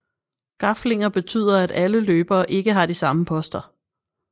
Gaflinger betyder at alle løbere ikke har de samme poster